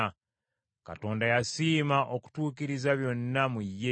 Katonda yasiima okutuukiriza byonna mu ye,